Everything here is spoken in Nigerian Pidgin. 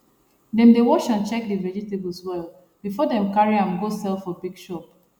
dem dey wash and check the vegetables well before dem carry am go sell for big shop